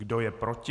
Kdo je proti?